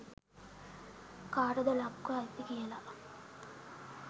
කාටද ලක්ව අයිති කියලා.